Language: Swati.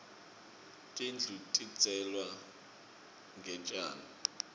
tindlu tidzeklwe ngetjani